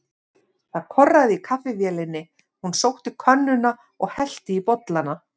Það korraði í kaffivélinni, hún sótti könnuna og hellti í bollana.